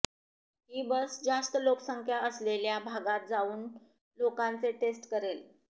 ही बस जास्त लोकसंख्या असलेल्या भागात जावून लोकांचे टेस्ट करेल